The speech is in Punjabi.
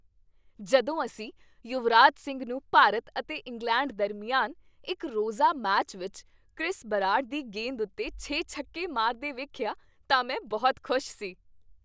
ਜਦੋਂ ਅਸੀਂ ਯੁਵਰਾਜ ਸਿੰਘ ਨੂੰ ਭਾਰਤ ਅਤੇ ਇੰਗਲੈਂਡ ਦਰਮਿਆਨ ਇੱਕ ਰੋਜ਼ਾ ਮੈਚ ਵਿੱਚ ਕ੍ਰਿਸ ਬਰਾਡ ਦੀ ਗੇਂਦ ਉੱਤੇ ਛੇ ਛੱਕੇ ਮਾਰਦੇ ਵੇਖਿਆ ਤਾਂ ਮੈਂ ਬਹੁਤ ਖੁਸ਼ ਸੀ।